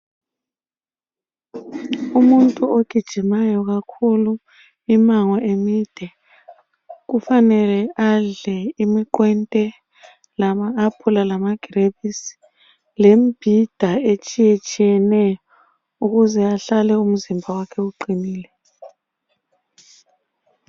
Umuntu ogijimayo kakhulu imango emide kufanele adle imiqwente lama apula lamagrebisi lemibhida etshiyetshiyeneyo ukuze ahlale umzimba wakhe uqinile.